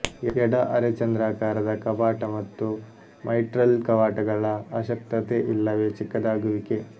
ಎಡ ಅರೆಚಂದ್ರಾಕಾರದ ಕವಾಟ ಮತ್ತು ಮೈಟ್ರಲ್ ಕವಾಟಗಳ ಅಶಕ್ತತೆ ಇಲ್ಲವೆ ಚಿಕ್ಕದಾಗುವಿಕೆ